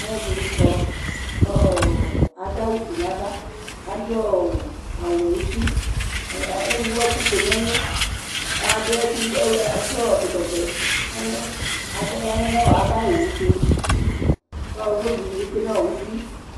Alʋ ɛdini kɔ kʋ adʋ awʋfue nʋ ava adʋ awʋwɛ nʋ uti ewʋ ɛkʋfue nʋ ɛlʋ kʋ adʋ ɛkɔtɔvɛ nʋ ɛlʋ abaya nʋ ava ayʋ owʋtʋ kʋ ʋvlokʋ dini bi tsue nʋ ʋti